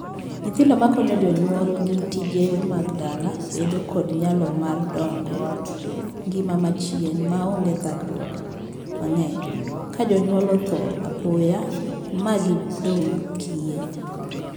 Nyithindo ma konyo jonyuolgi tije mag dala bedo kod nyalo mar dago ngima machien maonge thagruok mang'eny ka jonyuol othoo apoya ma gidong' kiye.